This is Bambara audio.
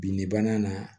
Bin de banna